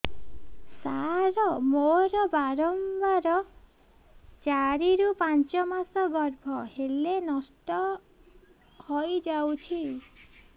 ସାର ମୋର ବାରମ୍ବାର ଚାରି ରୁ ପାଞ୍ଚ ମାସ ଗର୍ଭ ହେଲେ ନଷ୍ଟ ହଇଯାଉଛି